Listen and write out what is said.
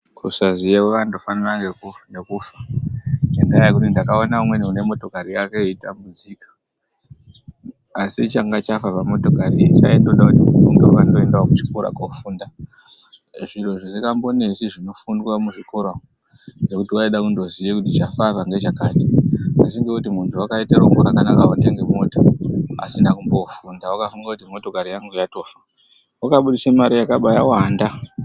Kusaziya kwakandofanana nekufa ngendaa yekuti ndakaona umweni unemotokari yake eitambudzika asichanga chafa pamotokari iyi chatoda kuti muntu unge watoendawo kuchikora kofunda zviro zvisingambonesi zvinofundwa muzvikora umo ngekuti waida kundoziye kuti chafa apa ngechakati asi ngekuti mundu wakaite rombo rakanaka kutengerwa mota asina kumbofunda wakafungakuti motokari yangu yatofa wakababudise Mari yakabawanda.